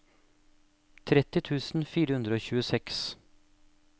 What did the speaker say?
tretti tusen fire hundre og tjueseks